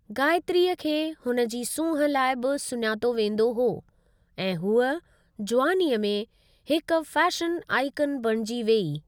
गायत्रीअ खे हुन जी सूंहुं लाइ बि सुञातो वेंदो हो ऐं हूअ जुवानीअ में हिकु फैशन आइकन बणिजी वेई।